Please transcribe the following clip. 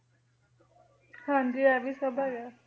ਹਾਂਜੀ ਇਹ ਵੀ ਸਭ ਹੈਗਾ ਹੈ,